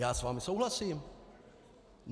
Já s vámi souhlasím.